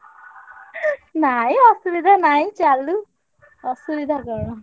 ନାଇଁ ଅସୁବିଧା ନାହିଁ ଚାଲୁ। ଅସୁବିଧା କଣ।